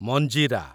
ମଞ୍ଜିରା